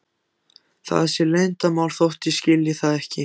Það sé leyndarmál þótt ég skilji það ekki.